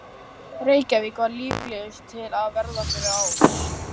Reykjavík var líklegust til að verða fyrir árs.